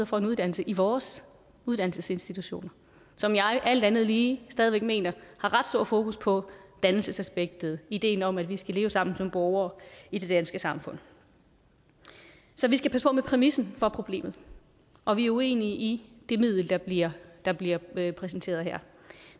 får en uddannelse i vores uddannelsesinstitutioner som jeg alt andet lige stadig væk mener har ret stor fokus på dannelsesaspektet ideen om at vi skal leve sammen som borgere i det danske samfund så vi skal passe på med præmissen for problemet og vi er uenige i det middel der bliver der bliver præsenteret her